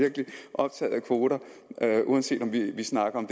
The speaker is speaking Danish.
optaget af kvoter uanset om vi snakker om